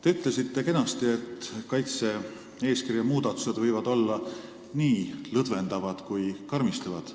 Te ütlesite kenasti, et kaitse-eeskirja muudatused võivad olla nii lõdvendavad kui ka karmistavad.